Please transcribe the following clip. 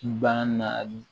Bagan naani